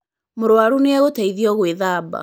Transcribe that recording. Mũruaru nĩ agũteithio gũĩthaba.